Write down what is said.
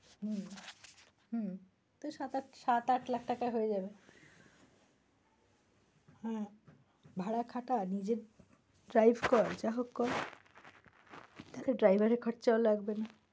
হম হম তো সাত-আট লাখ টাকায় হয়ে যাবে হম ভাড়া খাটা নিজে drive কর, যা হোক কর তাতে driver এর খরচা ও লাগবে না।